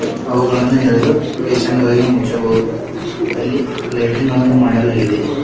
ಅವುಗಳನ್ನು ಎಳೆದು ಪೇಷಂಟ್ ಗಳಿಗೆ ಮುಚ್ಚಬಹುದು ಅಲ್ಲಿ ಲೈಟಿಂಗ್ ಗಳನ್ನು ಮಾಡಲಾಗಿದೆ.